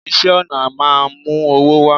iṣẹ ọna máà ń mú owó wá